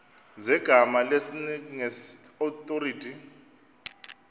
zegama lesngesn authorit